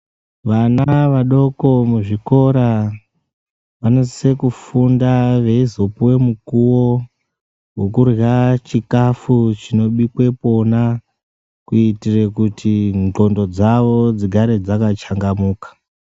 Vana vadoko muzvikora vanosisa kufunda veizopuve mukuvo vokurya chikafu chinobikwe pona. Kuitire kuti ndxondo dzavo dzigare dzakachangamuka.